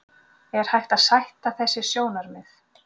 Er hægt að sætta þessi sjónarmið?